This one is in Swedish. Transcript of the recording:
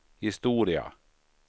historia